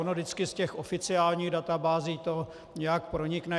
Ono vždycky z těch oficiálních databází to nějak pronikne.